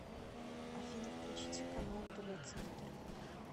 афина включите канал тв центр